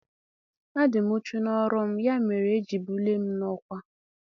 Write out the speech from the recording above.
A dị m uchu n'ọrụ m ya mere e ji bulie m n'ọkwá